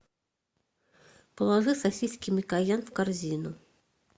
положи сосиски микоян в корзину